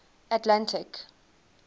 atlantic